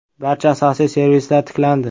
“Barcha asosiy servislar tiklandi.